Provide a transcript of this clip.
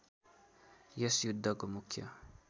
यस युद्धको मुख्य